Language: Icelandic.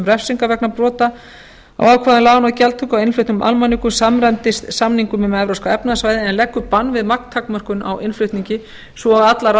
refsingar vegna brota á ákvæðum laganna og gjaldtöku þar á meðal á innfluttum almanökum samræmdist elleftu greinar samnings um evrópska efnahagssvæðið er leggja bann við magntakmörkunum á innflutningi svo og allar